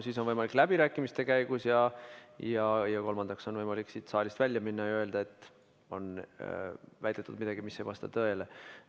Siis on võimalik läbirääkimiste käigus ning kolmandaks on võimalik siit saalist välja minna ja öelda, et on väidetud midagi, mis ei vasta tõele.